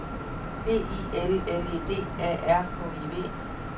B I L L E D A R K I V